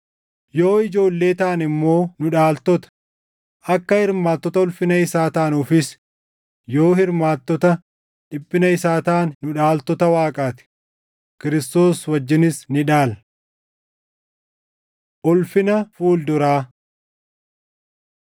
Yoo ijoollee taane immoo nu dhaaltota; akka hirmaattota ulfina isaa taanuufis yoo hirmaattota dhiphina isaa taane, nu dhaaltota Waaqaa ti; Kiristoos wajjinis ni dhaalla. Ulfina Fuul duraa